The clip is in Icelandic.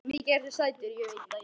Mikið ertu sætur.